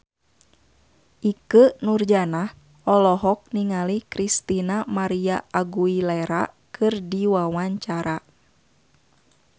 Ikke Nurjanah olohok ningali Christina María Aguilera keur diwawancara